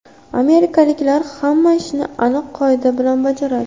Amerikaliklar hamma ishni aniq qoida bilan bajaradi.